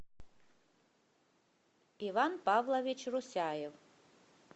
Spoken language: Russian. иван павлович русяев